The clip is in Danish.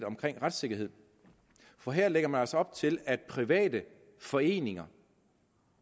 retssikkerhed for her lægger man altså op til at private foreninger